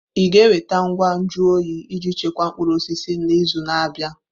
Ị ga-enweta ngwa nju oyi iji chekwaa mkpụrụ osisi n'izu na-abịa?